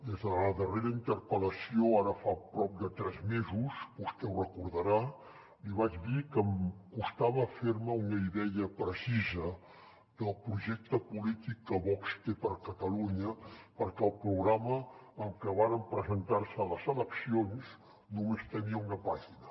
des de la darrera interpel·lació ara fa prop de tres mesos vostè ho deu recordar li vaig dir que em costava fer me una idea precisa del projecte polític que vox té per a catalunya perquè el programa amb què varen presentar se a les eleccions només tenia una pàgina